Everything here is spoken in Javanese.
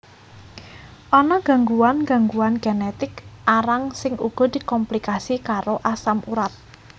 Ana gangguan gangguan genetik arang sing uga dikomplikasi karo asam urat